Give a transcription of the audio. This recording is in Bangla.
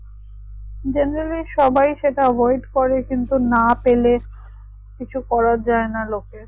generally সবাই সেইটা avoid করে কিন্তু না পেলে কিছু করা যাই না লোকের